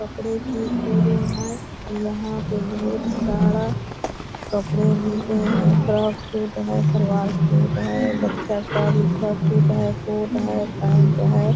कपड़े की शोरूम है यहाँ पे बहुत सारा कपड़े मिलते हैं फ्रॉक सूट है सलवार सूट है बच्चा का भी फ्रॉक सूट है कोट है पैंट है।